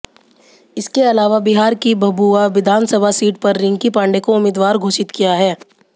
इसके अलावा बिहार की भभुआ विधानसभा सीट पर रिंकी पांडे को उम्मीदवार घोषित किया है